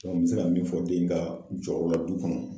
n bɛ se ka min fɔ den ka jɔyɔrɔ la du kɔnɔ